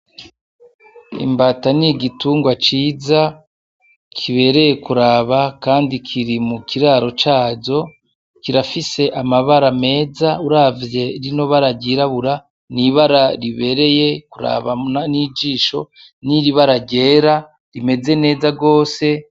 Imbata n’igitungwa ciza kibereye kuraba kandi kiri mu kiraro cayo , kirafise amabara meza uravye rino bara ryirabura , n’ibara ribereye kuraba n’ijisho , n’ibara ryera rimeze neza gose.